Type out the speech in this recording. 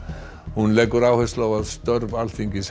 hún leggur áherslu á að störf Alþingis